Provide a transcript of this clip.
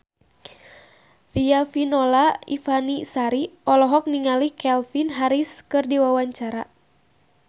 Riafinola Ifani Sari olohok ningali Calvin Harris keur diwawancara